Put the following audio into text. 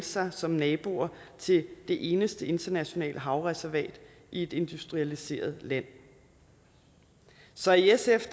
sig som naboer til det eneste internationale havreservat i et industrialiseret land så i sf